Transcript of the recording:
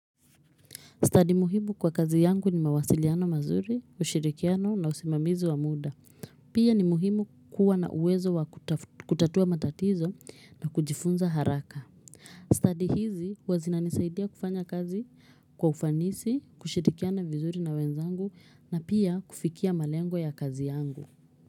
Study muhimu kwa kazi yangu ni mawasiliano mazuri ushirikiano na usimamizi wa muda pia ni muhimu kuwa na uwezo wa kutatua matatizo na kujifunza haraka study hizi hua zinanisaidia kufanya kazi kwa ufanisi kushirikiano vizuri na wenzangu na pia kufikia malengo ya kazi yangu.